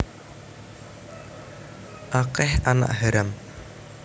Akeh anak haram